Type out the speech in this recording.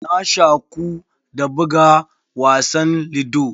Na shaku da buga wasan ludo.